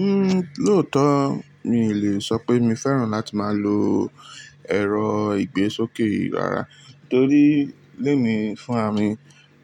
Uhm, lóòótọ́ mi ò lè sọ pé mi fẹ́ràn láti máa lo ẹ̀rọ ìgbésókè yìí rárá torí lé mi fún ramì